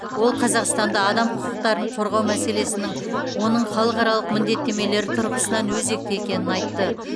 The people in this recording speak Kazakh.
ол қазақстанда адам құқықтарын қорғау мәселесінің оның халықаралық міндеттемелері тұрғысынан өзекті екенін айтты